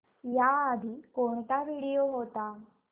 याआधी कोणता व्हिडिओ होता